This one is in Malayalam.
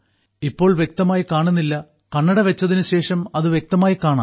ഇപ്പോൾ വ്യക്തമായി കാണുന്നില്ല കണ്ണട വെച്ചതിന് ശേഷം അത് വ്യക്തമായി കാണാം